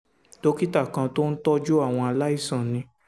dókítà kan tó ń tọ́jú àwọn aláìsàn ní